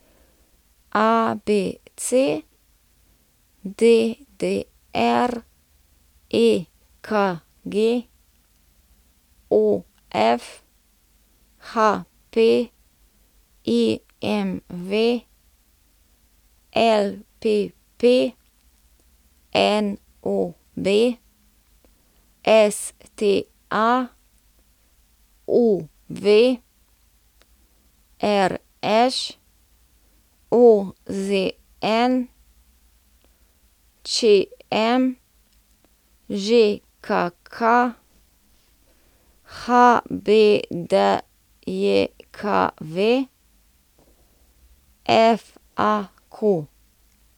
ABC, DDR, EKG, OF, HP, IMV, LPP, NOB, STA, UV, RŠ, OZN, ČM, ŽKK, HBDJKV, FAQ.